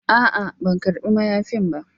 A'a, ban karba mayafin ba,